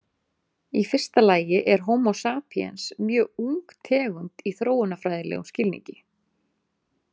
Í fyrsta lagi er Homo sapiens mjög ung tegund í þróunarfræðilegum skilningi.